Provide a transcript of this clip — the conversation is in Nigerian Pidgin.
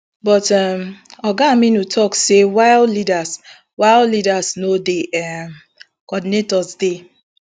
but um oga aminu tok say while leaders while leaders no dey um coordinators dey